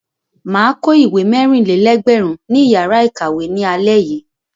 Mà á kó ìwé mẹ́rìn-lé-ẹgbẹ̀rún ní ìyàrá-ìkàwé ní alẹ́ yìí.